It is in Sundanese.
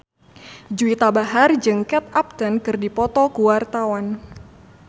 Juwita Bahar jeung Kate Upton keur dipoto ku wartawan